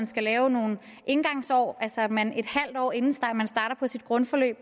skal laves nogle indgangsår altså sådan at man en halv år inden man starter på sit grundforløb